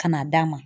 Ka na d'a ma